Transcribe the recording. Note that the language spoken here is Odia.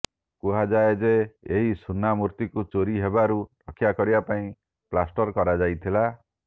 କୁହାଯାଏ ଯେ ଏହି ସୁନା ମୂର୍ତ୍ତିକୁ ଚୋରି ହେବାରୁ ରକ୍ଷା କରିବା ପାଇଁ ପ୍ଲାଷ୍ଟର କରାଯାଇଥିଲା